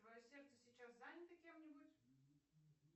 твое сердце сейчас занято кем нибудь